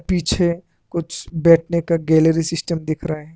पीछे कुछ बैठने का गैलरी सिस्टम दिख रहा है।